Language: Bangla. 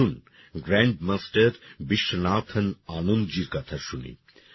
আসুন গ্র্যান্ডমাস্টার বিশ্বনাথন আনন্দ জির কথা শুনি